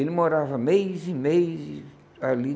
Ele morava mês e mês ali.